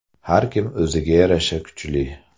Har kim o‘ziga yarasha kuchli.